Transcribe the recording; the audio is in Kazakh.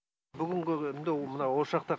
бүгінгі күнде мынау осы жақта